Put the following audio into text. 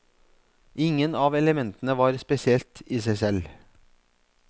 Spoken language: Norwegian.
Ingen av elementene var spesielt i seg selv.